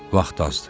Vaxt azdır.